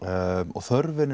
og þörfin